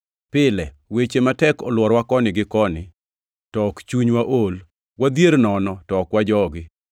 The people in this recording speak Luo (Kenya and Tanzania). Pile weche matek olworowa koni gi koni, to ok chunywa ool; wadhier nono, to ok wajogi;